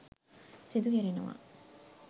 සිදු කෙරෙනවා.